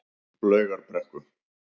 Laugarbrekku